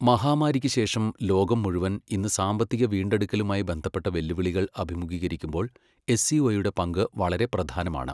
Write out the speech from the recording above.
മഹാമാരിക്കുശേഷം ലോകം മുഴുവൻ ഇന്നു സാമ്പത്തിക വീണ്ടെടുക്കലുമായി ബന്ധപ്പെട്ട വെല്ലുവിളികൾ അഭിമുഖീകരിക്കുമ്പോൾ, എസ്സിഒയുടെ പങ്കു വളരെ പ്രധാനമാണ്.